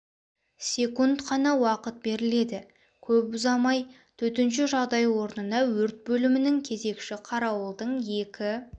секунд қана уақыт беріледі көп уақыт ұзамай төтенше жағдай орнына өрт бөлімнің кезекші қарауылдың екі